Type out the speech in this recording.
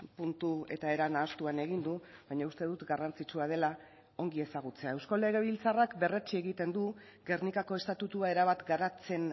puntu eta era nahastuan egin du baina uste dut garrantzitsua dela ongi ezagutzea eusko legebiltzarrak berretsi egiten du gernikako estatutua erabat garatzen